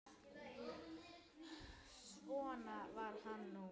Svona var hann nú.